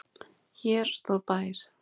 Hér stóð bær.